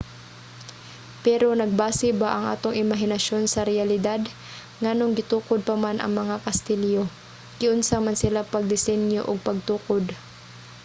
pero nagbase ba ang atong imahinasyon sa reyalidad? nganong gitukod pa man ang mga kastilyo? giunsa man sila pagdesinyo ug pagtukod?